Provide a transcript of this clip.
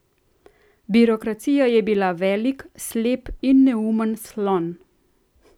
Birokracija je bila velik, slep in neumen slon.